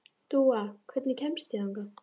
Dúa, hvernig kemst ég þangað?